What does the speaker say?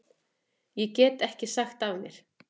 Ég get ekki sagt af mér.